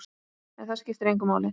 En það skiptir engu máli.